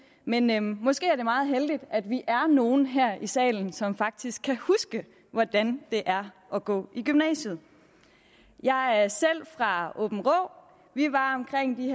men men måske er det meget heldigt at vi er nogle her i salen som faktisk kan huske hvordan det er at gå i gymnasiet jeg er selv fra aabenraa vi var omkring de